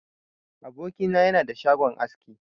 Aboki na yana da shagon aski.